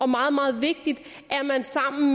meget meget vigtigt